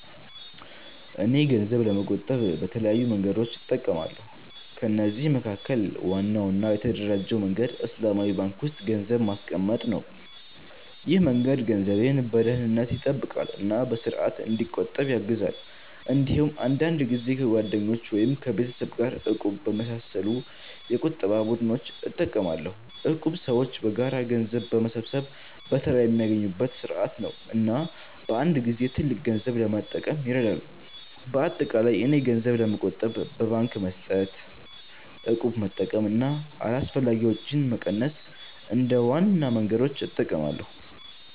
እኔ ገንዘብ ለመቆጠብ በተለያዩ መንገዶች እጠቀማለሁ። ከነዚህ መካከል ዋናው እና የተደራጀው መንገድ በእስላማዊ ባንክ ውስጥ ገንዘብ ማስቀመጥ ነው። ይህ መንገድ ገንዘቤን በደህንነት ይጠብቃል እና በስርዓት እንዲቆጠብ ያግዛል። እንዲሁም አንዳንድ ጊዜ ከጓደኞች ወይም ከቤተሰብ ጋር “እቁብ” በመሳሰሉ የቁጠባ ቡድኖች እጠቀማለሁ። እቁብ ሰዎች በጋራ ገንዘብ በመሰብሰብ በተራ የሚያገኙበት ስርዓት ነው እና በአንድ ጊዜ ትልቅ ገንዘብ ለመጠቀም ይረዳል። በአጠቃላይ እኔ ገንዘብ ለመቆጠብ በባንክ መስጠት፣ እቁብ መጠቀም እና አላስፈላጊ ወጪዎችን መቀነስ እንደ ዋና መንገዶች እጠቀማለሁ።